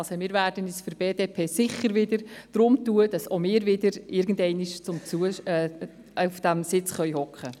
Seitens der BDP werden wir uns sicher darum tun, damit auch wir wieder irgendwann einmal diesen Sitz einnehmen können.